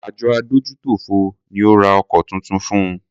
Àjọ adójútòfò ni o ra ọkọ̀ tuntun fun.